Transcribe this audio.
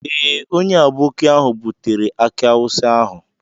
Ee, onye aboki ahụ butere aki awusa ahụ.